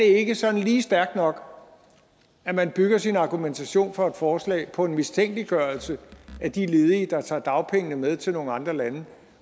ikke sådan lige stærkt nok at man bygger sin argumentation for et forslag på en mistænkeliggørelse af de ledige der tager dagpengene med til nogle andre lande